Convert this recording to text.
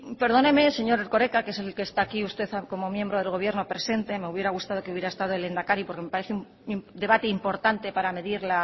perdóneme señor erkoreka que es el que está aquí usted como miembro del gobierno presente me hubiera gustado que hubiera estado el lehendakari porque me parece un debate importante para medir